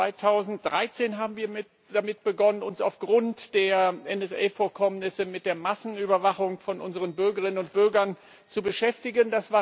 2013 haben wir mit damit begonnen, uns aufgrund der NSA Vorkommnisse mit der Massenüberwachung von unseren Bürgerinnen und Bürgern zu beschäftigen.